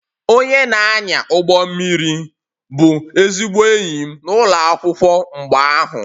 Onye na-anya ụgbọ mmiri bụ ezigbo enyi m n'ụlọ akwụkwọ mgbe ahụ